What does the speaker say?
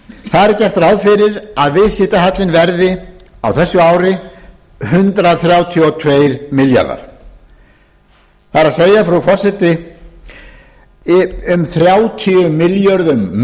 er gert ráð fyrir að viðskiptahallinn verði á þessu ári hundrað þrjátíu og tveir milljarðar króna það er frú forseti um þrjátíu milljörðum